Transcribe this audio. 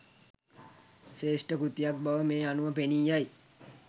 ශ්‍රේෂ්ඨ කෘතියක් බව මේ අනුව පෙනීයයි.